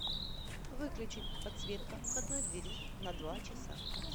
выключить подсветка входной двери на два часа